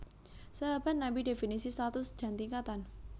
Sahabat Nabi definisi status dan tingkatan